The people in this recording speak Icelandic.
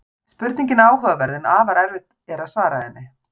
Spurningin er áhugaverð en afar erfitt er að svara henni.